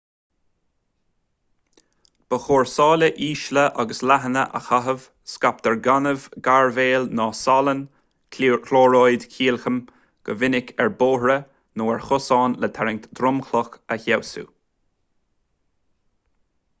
ba chóir sála ísle agus leathana a chaitheamh. scaiptear gaineamh gairbhéal nó salainn clóiríd chailciam go minic ar bhóithre nó ar chosáin le tarraingt dhromchlach a fheabhsú